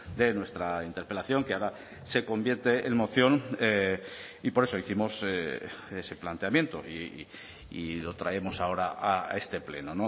de nuestra interpelación que ahora se convierte en moción y por eso hicimos ese planteamiento y lo traemos ahora a este pleno